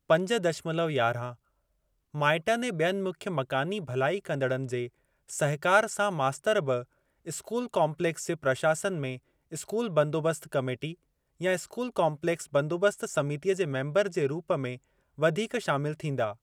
पंज दशमलव यारहं माइटनि ऐं बि॒यनि मुख्य मकानी भलाई कंदड़नि जे सहिकार सां मास्तर बि स्कूल काम्पलेक्स जे प्रशासन में स्कूल बंदोबस्त कमेटी या स्कूल काम्पलेक्स बंदोबस्त समितीअ जे मेम्बर जे रूप में वधीक शामिल थींदा।